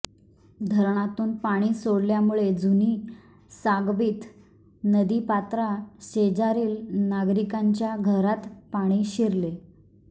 धरणातून पाणी सोडल्यामुळे जुनी सांगवीत नदीपात्रा शेजारील नागरिकांच्या घरात पाणी शिरले